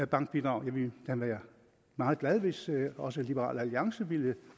bankbidrag jeg ville da være meget glad hvis også liberal alliance ville